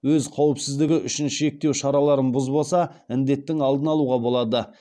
өз қауіпсіздігі үшін шектеу шараларын бұзбаса індеттің алдын алуға болады